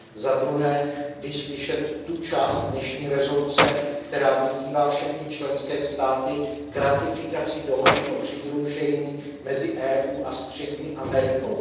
Za druhé vyslyšet tu část dnešní rezoluce, která vyzývá všechny členské státy k ratifikaci dohody o přidružení mezi EU a střední Amerikou.